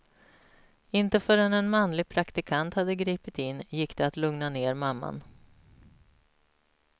Inte förrän en manlig praktikant hade gripit in gick det att lugna ner mamman.